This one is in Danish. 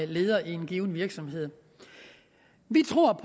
leder i en given virksomhed vi tror